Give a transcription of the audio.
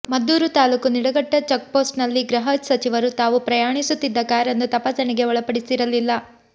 ಮದ್ದೂರು ತಾಲೂಕು ನಿಡಘಟ್ಟ ಚೆಕ್ಪೋಸ್ಟ್ನಲ್ಲಿಗೃಹ ಸಚಿವರು ತಾವು ಪ್ರಯಾಣಿಸುತ್ತಿದ್ದ ಕಾರನ್ನು ತಪಾಸಣೆಗೆ ಒಳಪಡಿಸಿರಲಿಲ್ಲ